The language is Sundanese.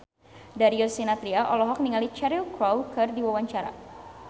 Darius Sinathrya olohok ningali Cheryl Crow keur diwawancara